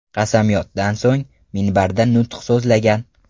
Qasamyoddan so‘ng, minbarda nutq so‘zlagan.